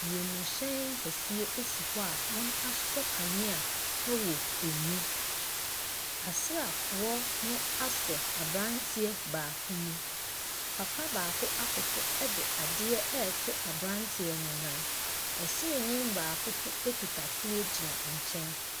Wiemhyɛn keseɛ esi hɔ a wɔasosɔ kanea ɛwɔ ɛmu asraafoɔ no asɔ abranteɛ baako mu papa baako akoto ɛde adeɛ ɛreto abranteɛ no nan wɔsrani baako nso ɛkita tuo gyina nkyɛn.